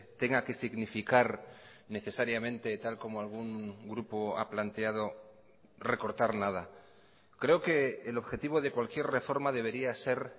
tenga que significar necesariamente tal como algún grupo ha planteado recortar nada creo que el objetivo de cualquier reforma debería ser